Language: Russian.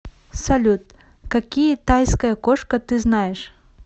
салют какие тайская кошка ты знаешь